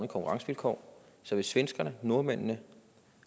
konkurrencevilkår så hvis svenskerne nordmændene